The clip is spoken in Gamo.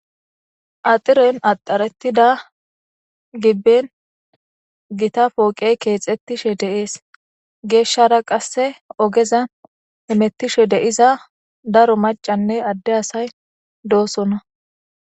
Axiren axaretida giben Gita poqey kexetishe de'es. Geshara qase ogezan hamutishe diza daro macanne Ade asay dosona.